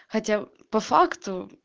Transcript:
хотя по факту